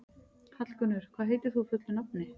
Hallgunnur, hvað heitir þú fullu nafni?